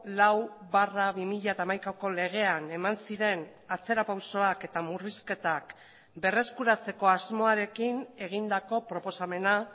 lau barra bi mila hamaikako legean eman ziren atzera pausoak eta murrizketak berreskuratzeko asmoarekin egindako proposamena